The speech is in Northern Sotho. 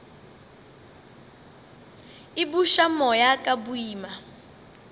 a buša moya ka boima